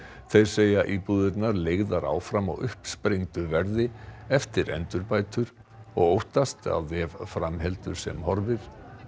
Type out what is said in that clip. þeir segja íbúðirnar leigðar áfram á uppsprengdu verði eftir endurbætur og óttast að ef fram heldur sem horfir